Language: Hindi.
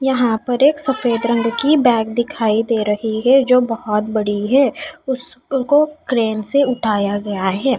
यहां पर एक सफेद रंग की बैग दिखाई दे रही है जो बहोत बड़ी है। उसको क्रेन से उठाया गया है।